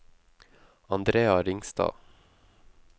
Andrea Ringstad